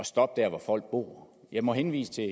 stoppe der hvor folk bor jeg må henvise til